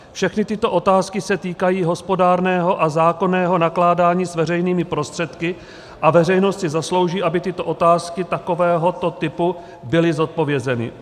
Všechny tyto otázky se týkají hospodárného a zákonného nakládání s veřejnými prostředky a veřejnost si zaslouží, aby tyto otázky takovéhoto typu byly zodpovězeny.